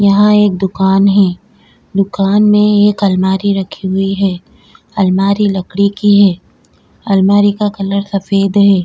यहा एक दुकान है दुकान में एक अलमारी रखी हुई है अलमारी लकड़ी की है अलमारी का कलर सफेद है।